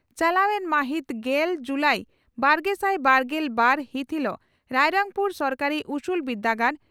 ᱪᱟᱞᱟᱣ ᱮᱱ ᱢᱟᱹᱦᱤᱛ ᱜᱮᱞ ᱡᱩᱞᱟᱤ ᱵᱟᱨᱜᱮᱥᱟᱭ ᱵᱟᱨᱜᱮᱞ ᱵᱟᱨ ᱦᱤᱛ ᱦᱤᱞᱚᱜ ᱨᱟᱭᱨᱚᱝᱯᱩᱨ ᱥᱚᱨᱚᱠᱟᱨᱤ ᱩᱥᱩᱞ ᱵᱤᱨᱫᱟᱹᱜᱟᱲ